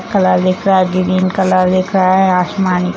colour दिख रहा है | ग्रीन कलर दिख रहा है | आसमान --